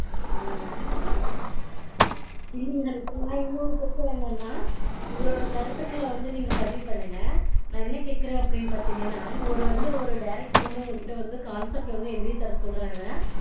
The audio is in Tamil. ம்ம் இல்லீங்க ஹரிப்பிரியா நா இன்னொன்னு கேக்கறது என்னன்னா, உங்களோட கருத்துக்கள வந்து நீங்க பதிவு பண்ணுங்க. நா என்ன கேக்கறேன் அப்டீனு பாத்தீங்கனா, ஒரு director உங்கக்கிட்ட concept வந்து எழுதி தர சொல்றாங்க.